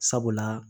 Sabula